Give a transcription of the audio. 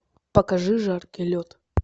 покажи жаркий лед